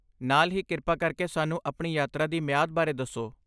ਨਾਲ ਹੀ, ਕਿਰਪਾ ਕਰਕੇ ਸਾਨੂੰ ਆਪਣੀ ਯਾਤਰਾ ਦੀ ਮਿਆਦ ਬਾਰੇ ਦੱਸੋ।